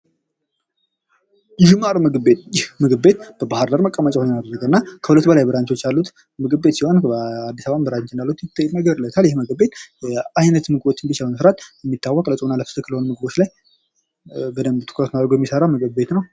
የሺ ማር ምግብ ቤት ።ምግብ ቤት በባህር ዳር መቀመጫውን ያደረገ እና ከሁለት በላይ ብራቾች ያሉት ምግብ ቤት ሲሆን በአዲስ አበባም ብራንች እንዳለው ይነገርለታል። ይህ ምግብ ቤት አይነት ምግቦችን በማቅረብ የሚታወቅ በፆምና በፍስክ በሆኑ ምግቦች ላይ በደንብ ትኩረቱን አድርጎ የሚሰራ ምግብ ቤት ነው።